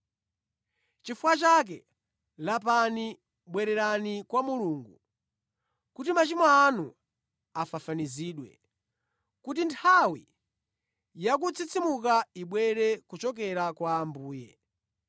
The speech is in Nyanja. Chifukwa chake, lapani, bwererani kwa Mulungu, kuti machimo anu afafanizidwe, kuti nthawi ya kutsitsimuka ibwere kuchokera kwa Ambuye,